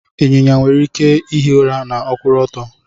Ịnyịnya nwere ike ihi ura ma ọkwuru ọtọ.